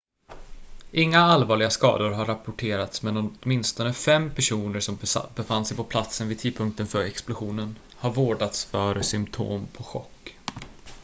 inga allvarliga skador har rapporterats men åtminstone fem personer som befann sig på platsen vid tidpunkten för explosionen har vårdats för symtom på chock